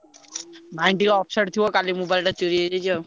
Mind ଟିକେ upset ଥିବ କାଲି mobile ଟା ଚୋରି ହେଇଯାଇଛି ଆଉ।